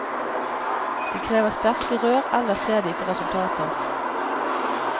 De krever sterke rør, ellers ser de ikke resultater.